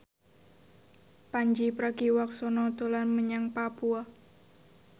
Pandji Pragiwaksono dolan menyang Papua